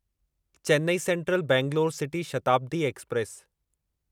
Chennai central Bangalore city Shatabdi express